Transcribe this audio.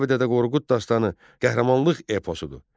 Kitabi-Dədə Qorqud dastanı qəhrəmanlıq eposudur.